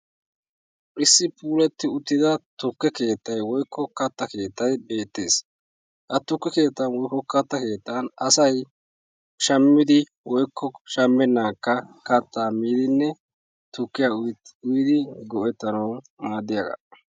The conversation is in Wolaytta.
Issi puulatti uttida tukke keettay woykko katta keettay bettees. Ha tukke kettaan woykko katta keettan asay shammidi woykko shammenankka kaattaa miidinne tukkiyaa uyidi go'ettanawu maadiyaagaa.